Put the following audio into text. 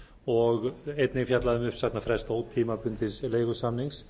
og einnig er fjallað um uppsagnarfrest ótímabundins leigusamnings